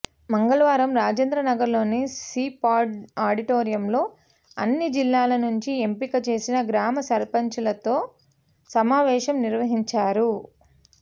మంగళవారం రాజేంద్రనగర్లోని సిపార్డు ఆడిటోరియంలో అన్ని జిల్లాల నుంచి ఎంపిక చేసిన గ్రామ సర్పంచ్లతో సమావేశం నిర్వహించారు